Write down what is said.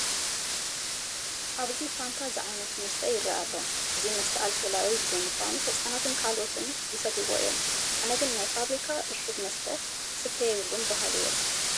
ኣብዚ ፋንታ ዝዓይነቱ መስተ ይርአ ኣሎ፡፡ እዚ መስተ ኣልኮላዊ ብዘይምዃኑ ህፃናትን ካልኦትን ይሰይዎ እዮም፡፡ ኣነ ግን ናይ ፋብሪካ ዕሹግ መስተ ክስተ የብሉን በሃሊ እየ፡፡